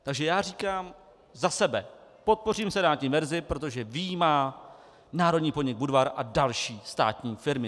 Takže já říkám za sebe: podpořím senátní verzi, protože vyjímá národní podnik Budvar a další státní firmy.